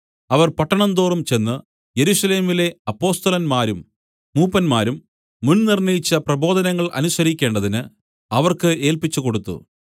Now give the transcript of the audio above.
അവർ പട്ടണം തോറും ചെന്ന് യെരൂശലേമിലെ അപ്പൊസ്തലന്മാരും മൂപ്പന്മാരും മുൻ നിർണ്ണയിച്ച പ്രബോധനങ്ങൾ അനുസരിക്കേണ്ടതിന് അവർക്ക് ഏല്പിച്ചുകൊടുത്തു